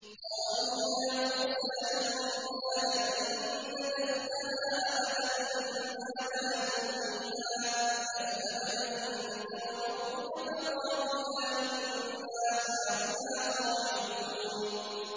قَالُوا يَا مُوسَىٰ إِنَّا لَن نَّدْخُلَهَا أَبَدًا مَّا دَامُوا فِيهَا ۖ فَاذْهَبْ أَنتَ وَرَبُّكَ فَقَاتِلَا إِنَّا هَاهُنَا قَاعِدُونَ